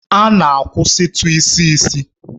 A na-akwụsịtụ isi isi.